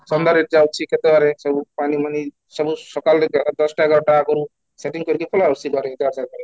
କନ୍ଧରେ ଯାଉଛି କେତେ rate ସବୁ ପାଣି ସବୁ ସକାଳେ ଦଶଟା ଏଗାରଟା ଆଗରୁ setting କରିକି ପଳାଇ ଆସୁଛି ସିଧା